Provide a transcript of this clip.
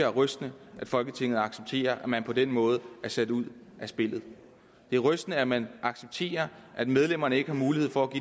er rystende at folketinget accepterer at man på den måde er sat ud af spillet det er rystende at man accepterer at medlemmerne ikke har mulighed for